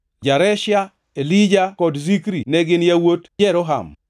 Jareshia, Elija kod Zikri ne gin yawuot Jeroham.